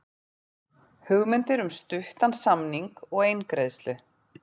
Hugmyndir um stuttan samning og eingreiðslu